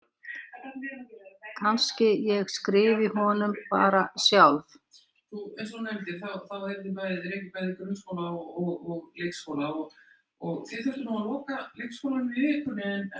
Kannski ég skrifi honum bara sjálf.